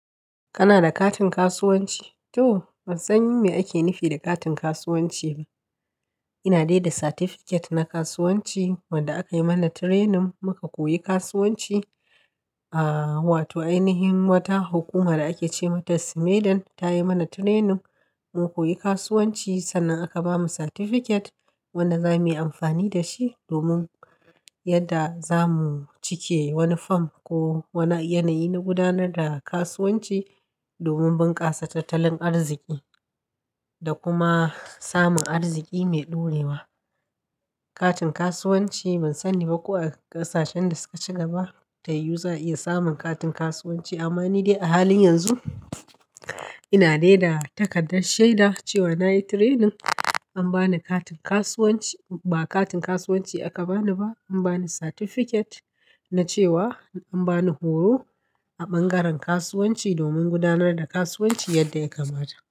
Kana da katin kasuwanci? To! Ban san me ake nufi da katin kasuwanci ba. Ina dai da satifiket na kasuwanci wanda aka yi mana training muka koyi kasuwanci. Ahh, wato ainihin wata hukuma da ake ce mata Sumedan ta yi mana training muka koyi kasuwanci sannan aka bamu satifiket wanda za mu yi amfani da shi domin yadda za mu cike wani fom ko wani yanayi na gudanar da kasuwanci domin bunƙasa tattalin arziki da kuma samun arziki mai ɗorewa. Katin kasuwanci ban sani ba ko a ƙasashen da suka ci gaba ta yiwu za a iya samun katin kasuwanci amma ni dai a halin yanzu ina dai da takardar shaida cewa na yi training an ba ni katin kasuwanci. Ba katin kasuwanci aka bani ba an bani satifiket na cewa an bani horo a bangaren kasuwanci domin gudanar da kasuwanci yadda ya kamata.